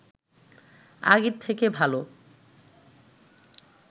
আগের থেকে ভালো